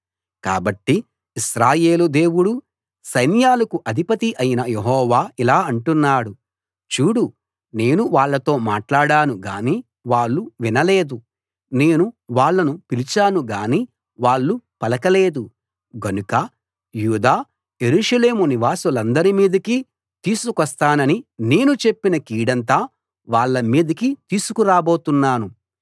కాబట్టి ఇశ్రాయేలు దేవుడూ సైన్యాలకు అధిపతి అయిన యెహోవా ఇలా అంటున్నాడు చూడు నేను వాళ్ళతో మాట్లాడాను గాని వాళ్ళు వినలేదు నేను వాళ్ళను పిలిచాను గాని వాళ్ళు పలకలేదు గనుక యూదా యెరూషలేము నివాసులందరి మీదకీ తీసుకొస్తానని నేను చెప్పిన కీడంతా వాళ్ళ మీదకి తీసుకురాబోతున్నాను